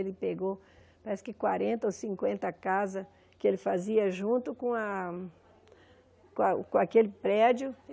Ele pegou parece que quarenta ou cinquenta casas que ele fazia junto com a com a com aquele prédio.